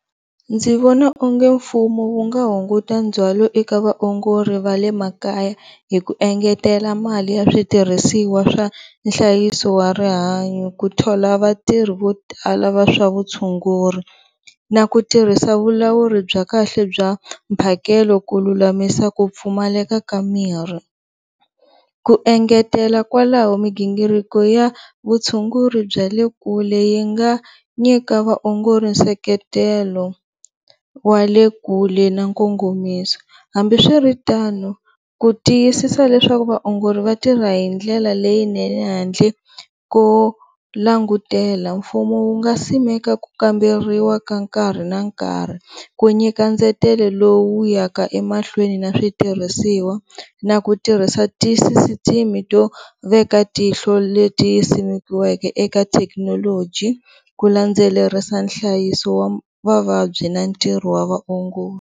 Ndzi vona onge mfumo wu nga hunguta ndzhwalo eka vaongori va le makaya hi ku engetela mali ya switirhisiwa swa nhlayiso wa rihanyo, ku thola vatirhi vo tala va swa vu tshunguri na ku tirhisa vulawuri bya kahle bya mphakelo ku lulamisa ku pfumaleka ka miri, ku engetela kwalaho miginghiriko ya vutshunguri bya le kule yi nga nyika vaongori seketelo, wa le kule na nkongomiso hambiswiritano ku tiyisisa leswaku vaongori va tirha hindlela leyinene handle ko langutela mfumo wu nga simeka ku kamberiwa ka nkarhi na nkarhi, ku nyika ndzetelo lowu ya ka mahlweni na switirhisiwa na ku tirhisa tisisitimi to veka tihlo leyi simekiweke eka thekinoloji, ku landzelerisa nhlayiso wa vavabyi na ntirho wa vaongori.